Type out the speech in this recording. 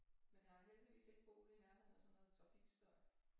Men jeg har heldigvis ikke boet i nærheden af sådan noget trafikstøj